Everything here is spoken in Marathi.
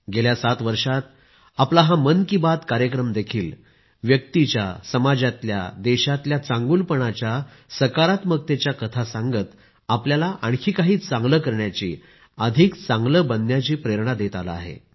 गेल्या सात वर्षात आपला हा मन की बात कार्यक्रम देखील व्यक्तीच्या समाजातल्या देशातल्या चांगुलपणाच्या सकारात्मकतेच्या कथा सांगत आपल्याला आणखी काही चांगले करण्याची अधिक चांगले बनण्याची प्रेरणा देत आला आहे